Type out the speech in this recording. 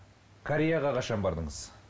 кореяға қашан бардыңыз